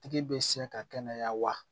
Tigi bɛ se ka kɛnɛya wa